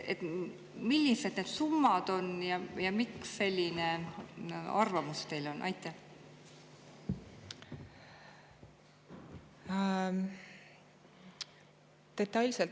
Millised need summad on ja miks teil on selline arvamus?